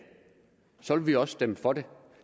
så ville vi også stemme for det